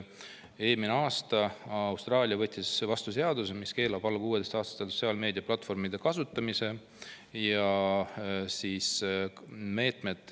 Eelmine aasta võttis Austraalia vastu seaduse, mis keelab alla 16‑aastastel sotsiaalmeediaplatvormide kasutamise.